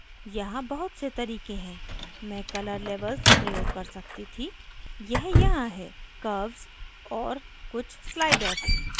यहाँ बहुत से तरीके हैं मैं color levels प्रयोग कर सकती थीयह यहाँ है curves और कुछ sliders